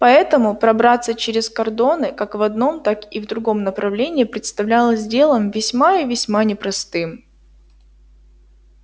поэтому пробраться через кордоны как в одном так и в другом направлении представлялось делом весьма и весьма непростым